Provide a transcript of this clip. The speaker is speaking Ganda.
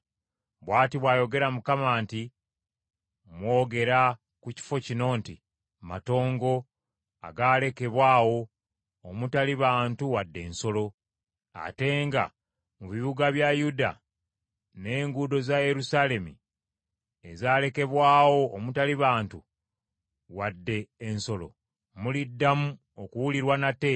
“Bw’ati bw’ayogera Mukama nti, ‘Mwogera ku kifo kino nti, “Matongo agaalekebwa awo, omutali bantu wadde ensolo.” Ate nga mu bibuga bya Yuda n’enguudo za Yerusaalemi ezalekebwawo omutali bantu wadde ensolo, muliddamu okuwulirwa nate